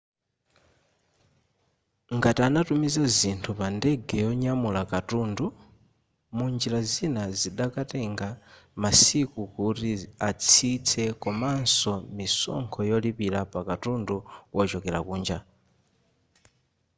ngati anatumiza zinthu pa ndege yonyamula katundu munjira zina zikadatenga masiku kuti atsitse komanso misonkho yolipira pakatundu wochokera kunja